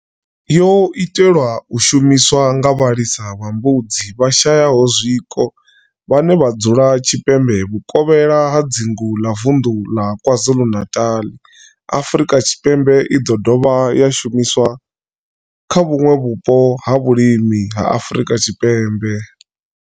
Yo itelwa u shumiswa nga vhalisa vha mbudzi vhashayaho zwiko vhane vha dzula tshipembe vhuvokhela ha dzingu la vunḓu ḽa KwaZulu-Natal, Afrika Tshipembe i ḓo dovha ya shumiswa kha vhuṋwe vhupo ha vhulimi ha Afrika Tshipembe.